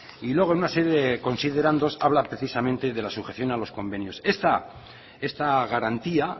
y luego en una serie de considerandos habla precisamente de la sujeción a los convenios esta garantía